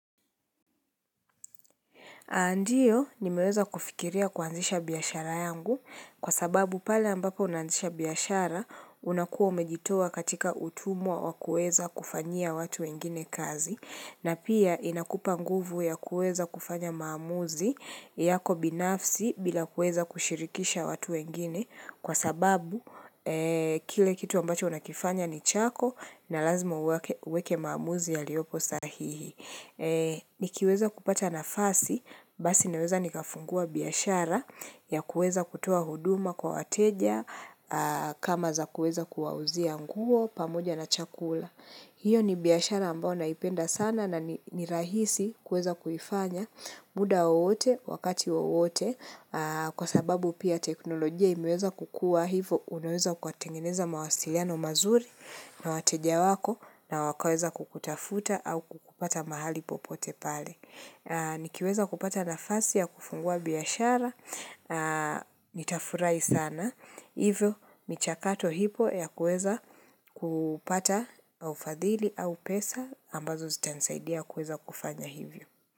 Ndiyo, nimeweza kufikiria kuanzisha biashara yangu, kwa sababu pale ambapo naanzisha biashara, unakuwa umejitoa katika utumwa wa kuweza kufanyia watu wengine kazi, na pia inakupa nguvu ya kuweza kufanya maamuzi yako binafsi bila kuweza kushirikisha watu wengine, kwa sababu, kile kitu ambacho unakifanya ni chako, na lazima uweke maamuzi yaliopo sahihi. Nikiweza kupata nafasi, basi naweza nikafungua biashara ya kuweza kutoa huduma kwa wateja, kama za kuweza kuwauzia nguo, pamoja na chakula. Hiyo ni biashara ambayo naipenda sana na ni rahisi kuweza kuifanya muda wowote wakati wowote kwa sababu pia teknolojia imeweza kukua hivyo unaweza ukatengeneza mawasiliano mazuri na wateja wako na wakaweza kukutafuta au kukupata mahali popote pale. Nikiweza kupata nafasi ya kufungua biashara, nitafurahi sana, hivyo michakato ipo ya kuweza kupata ufadhili au pesa ambazo zitanisaidia kuweza kufanya hivyo.